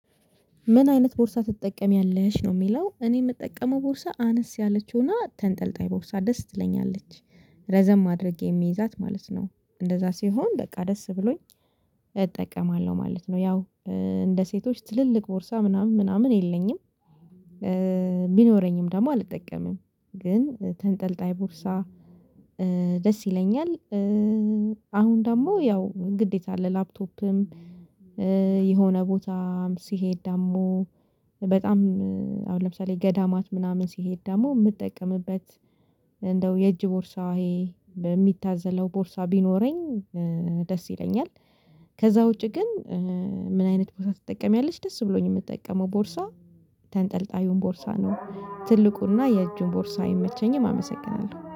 ምን አይነት ቦርሳ ትጠቀሚያለሽ ነው? ሚለው እኔ የምጠቀመው ቦርሳ አነስ ያለችው እና ተንጠልጣይ ቦርሳ ደስ ትለኛለች ረዘም ማድረጌ የምይዛት ማለት ነው እንደዛ ሲሆን በቃ ደስ ብሎኝ እጠቀማለሁ ማለት ነው። ያው እ እንደ ሴቶች ትልልቅ ቦርሳ ምናምን ምናምን የለኝም እ ቢኖረኝም ደግሞ አልጠቀምም። ግን ተንጠልጣይ ቡርሳ እእ ደስ ይለኛል። እእ አሁን ደግሞ ያው ግዴታ አለ ላፕቶፕም እእ የሆነ ቦታም ሲሄድ ደሞ በጣም እእ አሁን ለምሳሌ ገዳማት ምናምን ሲሄድ ደግሞ የምትጠቀምበት እንደው የእጅ ቦርሳዬ በሚታዘለው ቦርሳ ቢኖረኝ እእ ደስ ይለኛል። ከዛ ውጪ ግን እእ ምን አይነት ቦርሳ ትጠቀሚያለች? ደስ ብሎኝ የምጠቀመው ቦርሳ ተንጠልጣዩን ቦርሳ ነው ትልቁና የእጁን ቦርሳ አይመቸኝም። አመሰግናለሁ